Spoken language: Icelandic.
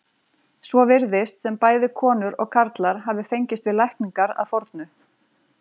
Svo virðist sem bæði konur og karlar hafi fengist við lækningar að fornu.